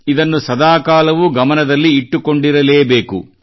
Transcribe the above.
ಇದನ್ನು ಸದಾಕಾಲವೂ ಗಮನದಲ್ಲಿ ಇಟ್ಟುಕೊಂಡಿರಲೇ ಬೇಕು